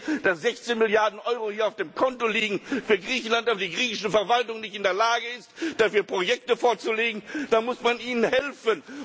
Wenn ich sehe, dass 16 Milliarden Euro auf dem Konto liegen für Griechenland, aber die griechische Verwaltung nicht in der Lage ist, dafür Projekte vorzulegen, dann muss man ihnen helfen.